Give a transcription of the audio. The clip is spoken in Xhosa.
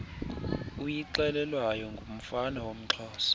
uyixelelwayo ngumfana woomxhosa